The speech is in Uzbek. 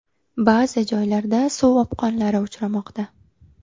Ba’zi joylarda suv o‘pqonlari uchramoqda.